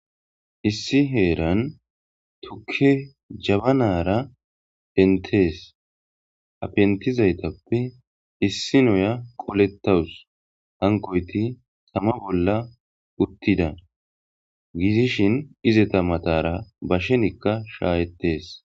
Issi herani tuke jabbanara pentes.ha pentizayitappe issiniya qoletawus.hankoyit tama bolla uttida gidishshin izeta matara bashennikka shayetes.